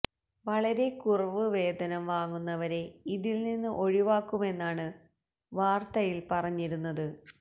വളരെ കുറവ് വേതനം വാങ്ങുന്നവരെ ഇതിൽ നിന്ന് ഒഴിവാക്കുമെന്നാണ് വാർത്തയിൽ പറഞ്ഞിരുന്നത്